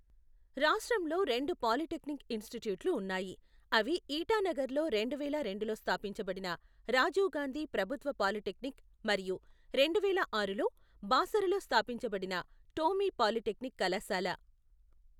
రాష్ట్రంలో రెండు పాలిటెక్నిక్ ఇనిస్టిట్యూట్లు ఉన్నాయి, అవి ఇటానగర్లో రెండువేల రెండులో స్థాపించబడిన రాజీవ్ గాంధీ ప్రభుత్వ పాలిటెక్నిక్ మరియు రెండువేల ఆరులో బాసరలో స్థాపించబడిన టోమీ పాలిటెక్నిక్ కళాశాల.